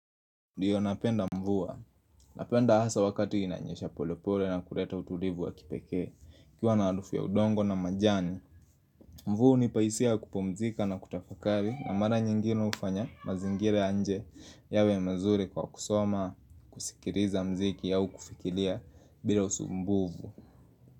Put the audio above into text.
Ndiyo napenda mvua, napenda hasa wakati inanyesha polepole na kuleta utulivu wa kipekee, kukiwa na harufu ya udongo na majani Mvua hunipa hisia ya kupumzika na kutafakari na mara nyingine ufanya mazingira ya nje yawe mazuri kwa kusoma, kusikiliza mziki au kufikiria bila usumbuvu.